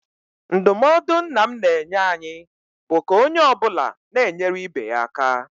Ndụmọdụ nna m na-enye anyị bụ ka onye ọ bụla na-enyere ibe ya aka.